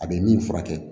A bɛ min furakɛ